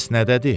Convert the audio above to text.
Bəs nədədir?